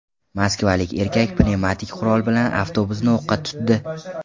Moskvalik erkak pnevmatik qurol bilan avtobusni o‘qqa tutdi.